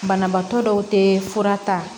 Banabaatɔ dɔw tɛ fura ta